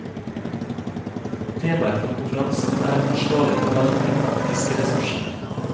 Temaet for konferansen er en forsvarlig forvaltning av fiskeressursene.